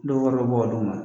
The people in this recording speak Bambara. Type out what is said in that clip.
Dɔw wari be bɔ ka dun ma